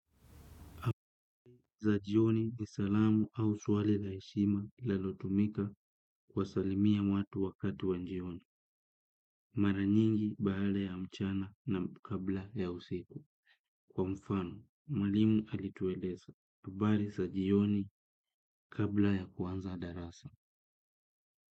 Za jioni ni salamu au swali la heshima linalotumika kuwsalimia watu wakati wa jioni. Mara nyingi baada ya mchana na kabla ya usiku. Kwa mfano, mwalimu alitueleza. Habari za jioni kabla ya kuanza darasa.